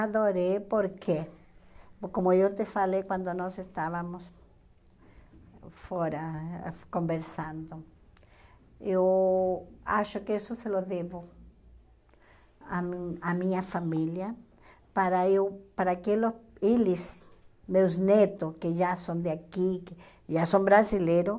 Adorei porque, como eu te falei quando nós estávamos fora conversando, eu acho que isso se lo devo à mi à minha família, para eu para que elo eles, meus netos, que já são de aqui, que já são brasileiros,